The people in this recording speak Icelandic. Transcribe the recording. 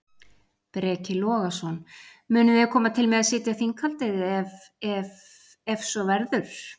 Breki Logason: Munuð þið koma til með að sitja þinghaldið ef ef ef svo verður?